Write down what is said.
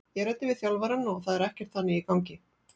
Ég ræddi við þjálfarann og það er ekkert þannig í gangi.